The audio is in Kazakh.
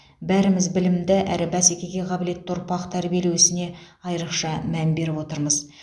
бәріміз білімді әрі бәсекеге қабілетті ұрпақ тәрбиелеу ісіне айрықша мән беріп отырмыз